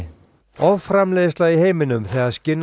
offramleiðsla í heiminum þegar